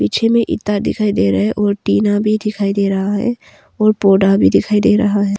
पीछे में ईंटा दिखाई दे रहा है और टीना भी दिखाई दे रहा है और पौडा भी डिखाई डे रहा है।